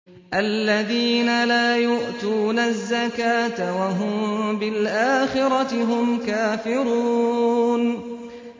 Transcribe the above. الَّذِينَ لَا يُؤْتُونَ الزَّكَاةَ وَهُم بِالْآخِرَةِ هُمْ كَافِرُونَ